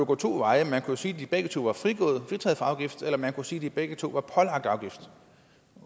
gå to veje man kunne jo sige at de begge to var fritaget for afgift eller man kunne sige at de begge to var pålagt afgift